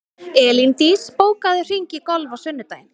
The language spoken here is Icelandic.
Elíndís, bókaðu hring í golf á sunnudaginn.